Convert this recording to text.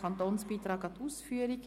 Kantonsbeitrag an die Ausführung».